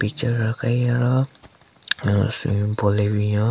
Picture aka hi aro hmm swimming pool le binyon.